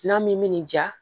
N'a min mi nin ja